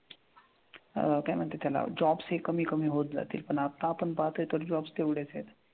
अह काय म्हणतात त्याला jobs हे कमी कमी होत जातील पण आता आपण पाहतोय तरी jobs तेवढेच आहेत.